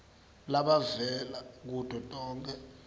labavela kuto tonkhe